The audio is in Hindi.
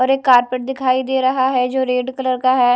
और एक कारपेट दिखाई दे रहा है जो रेड कलर का है।